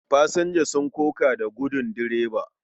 Fasinja sun koka da gudin direba.